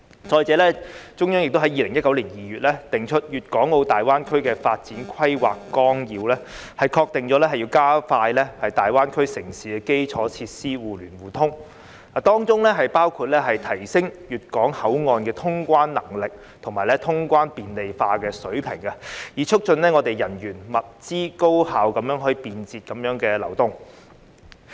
再者，中央亦在2019年2月訂出《粵港澳大灣區發展規劃綱要》，確定要加快大灣區城市的基礎設施互聯互通，當中包括提升粵港澳口岸的通關能力和通關便利化的水平，以促進人員、物資高效便捷地流動。